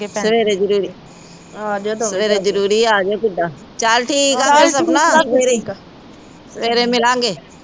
ਸਵੇਰੇ ਜਰੂਰੀ ਸਵੇਰੇ ਜਰੂਰੀ ਆ ਜਾਇਓ ਕਿਦਾਂ ਸਵੇਰੇ ਮਿਲਾਂਗੇ